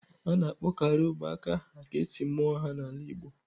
A na-akpọkarị ụmụaka aha ka e si mụọ ha n'ala Igbo.